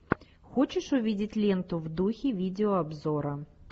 хочешь увидеть ленту в духе видеообзора